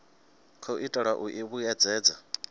khou itelwa u i vhuedzedza